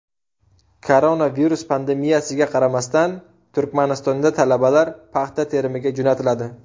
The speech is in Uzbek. Koronavirus pandemiyasiga qaramasdan Turkmanistonda talabalar paxta terimiga jo‘natiladi.